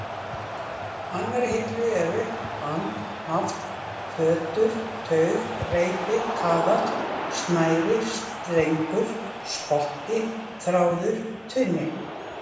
annarri hillu eru: band, haft, fjötur, taug, reipi, kaðall, snæri, strengur, spotti, þráður, tvinni.